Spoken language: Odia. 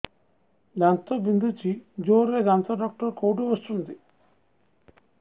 ଦାନ୍ତ ବିନ୍ଧୁଛି ଜୋରରେ ଦାନ୍ତ ଡକ୍ଟର କୋଉଠି ବସୁଛନ୍ତି